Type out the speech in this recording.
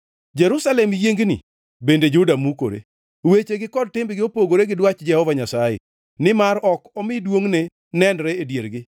Jerusalem yiengni, bende Juda mukore; wechegi kod timbegi opogore gi dwach Jehova Nyasaye, nimar ok omi duongʼne nenre e diergi.